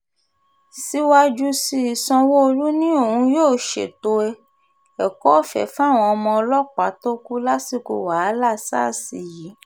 síwájú sí i sanwó-olu ni òun yóò ṣètò ẹ̀kọ́-ọ̀fẹ́ fáwọn ọmọ ọlọ́pàá tó kù lásìkò wàhálà sars yìí